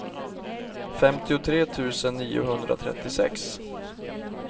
femtiotre tusen niohundratrettiosex